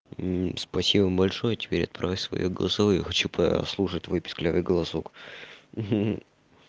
и спасибо большое теперь отправь своё голосовое хочу послушать твой писклявый голосок ха-ха